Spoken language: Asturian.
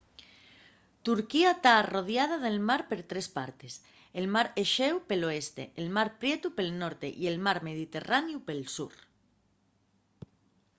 turquía ta arrodiada de mar per tres partes el mar exéu pel oeste el mar prietu pel norte y el mar mediterraneu pel sur